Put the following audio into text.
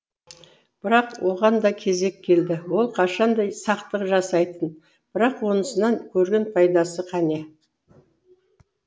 бірақ оған да кезек келді ол қашан да сақтық жасайтын бірақ онысынан көрген пайдасы қане